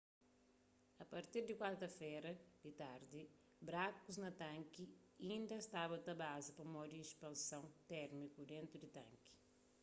a partir di kuarta-fera di tardi brakus na tanki inda staba ta baza pamodi ispanson térmiku dentu di tanki